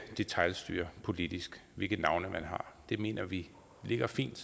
detailstyres politisk hvilke navne man har vi mener det ligger fint